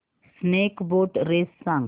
snake boat race सांग